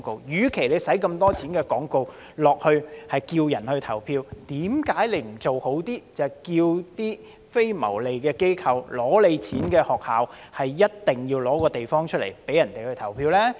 既然花了這麼多錢賣廣告呼籲市民投票，為何不做好一些，要求非牟利機構、取得撥款的學校一定要撥出地方，供市民投票呢？